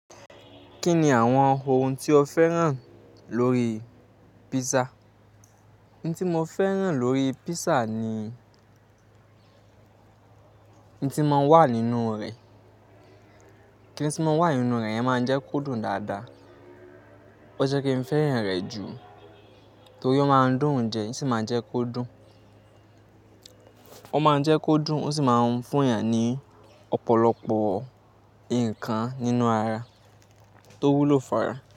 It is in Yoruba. Kí ni àwọn ohun tí o fẹ́ràn lórí písà? Ohun tí mo fẹ́ràn lórí písà ni ohun tí máa ń wà nínú rẹ̀. Kíni tí máa ń wà nínú rẹ̀ yẹn máa ń jẹ́ kó dùn dáadáa. O jẹ́ kí n fẹ́ràn rẹ̀ jù torí ó máa ń dùn ún jẹ, ó sì máa ń jẹ́ kó dùn. Ó máa ń jẹ́ kó dùn, ó sì máa ń fún èèyàn ní ọ̀pọ̀lọpọ̀ nǹkan nínú ara tó wúlò fára.